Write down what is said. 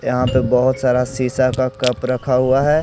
यहां पे बहोत सारा शिशा का कप रखा हुआ है।